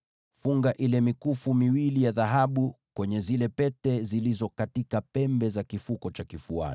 Funga ile mikufu miwili ya dhahabu kwenye hizo pete zilizo katika pembe za hicho kifuko cha kifuani,